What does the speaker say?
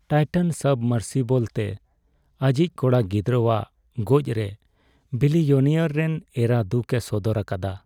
Titan submersible ᱛᱮ ᱟᱹᱭᱤᱡ ᱠᱚᱲᱟ ᱜᱤᱫᱽᱨᱟᱹᱣᱟᱜ ᱜᱚᱡ ᱨᱮ ᱵᱤᱞᱤᱭᱚᱱᱮᱭᱟᱨ ᱨᱮᱱ ᱮᱨᱟ ᱫᱩᱠ ᱮ ᱥᱚᱫᱚᱨ ᱟᱠᱟᱫᱟ ᱾